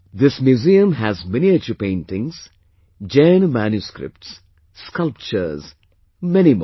This museum has miniature paintings, Jaina manuscripts, sculptures ...many more